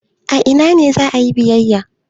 A ina ne za a yi biyayya?